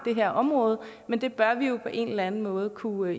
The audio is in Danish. her område men det bør vi jo på en eller anden måde kunne